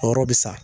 A yɔrɔ bɛ sa